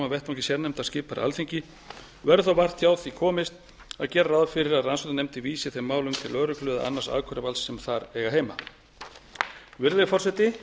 vettvangi sérnefndar skipaðar af alþingi verður þó vart hjá því komist að gera ráð fyrir að rannsóknarnefndin vísi þeim málum til lögreglu eða annars ákæruvalds sem þar eiga heima virðulegi forseti